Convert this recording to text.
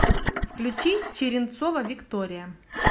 включи черенцова виктория